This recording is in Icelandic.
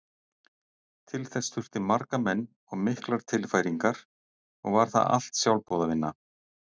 Til þess þurfti marga menn og miklar tilfæringar og var það allt sjálfboðavinna.